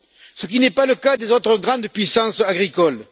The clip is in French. Ce qui n'est pas le cas des autres grandes puissances agricoles.